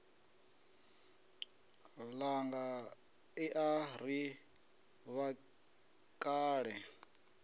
ṋanga i a ri vhakale